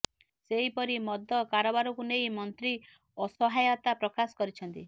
ସେହିପରି ମଦ କାରବାରକୁ ନେଇ ମନ୍ତ୍ରୀ ଅସହାୟତା ପ୍ରକାଶ କରିଛନ୍ତି